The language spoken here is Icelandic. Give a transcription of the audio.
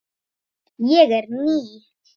Ég er ný.